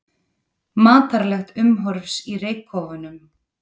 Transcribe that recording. Matarlegt umhorfs í reykkofunum